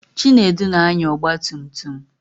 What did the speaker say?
Chinedu na-anya ọgbatumtum.